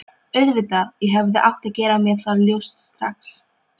Auðvitað, ég hefði átt að gera mér það ljóst strax.